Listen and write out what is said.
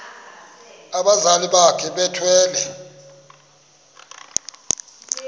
abazali bakhe bethwele